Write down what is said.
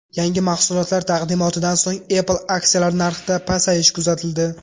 Yangi mahsulotlar taqdimotidan so‘ng Apple aksiyalari narxida pasayish kuzatildi.